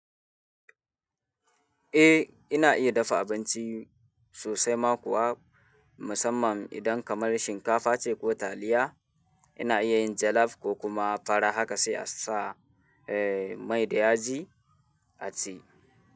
Eh, ina iya dafa abinci sosai ma kuwa musamman idan kamar shinkafa ce ko taliya. Ina iya yin jollof ko kuma fara haka sai a sa mai da yaji a ci.